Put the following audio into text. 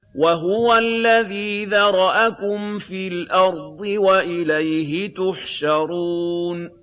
وَهُوَ الَّذِي ذَرَأَكُمْ فِي الْأَرْضِ وَإِلَيْهِ تُحْشَرُونَ